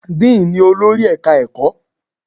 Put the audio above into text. Dean ni olórí Ẹ̀ka-ẹ̀kọ́.